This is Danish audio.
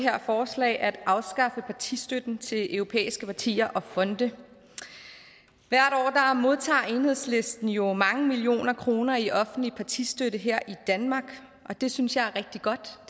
her forslag at afskaffe partistøtten til europæiske partier og fonde hvert år modtager enhedslisten jo mange millioner kroner i offentlig partistøtte her i danmark og det synes jeg er rigtig godt og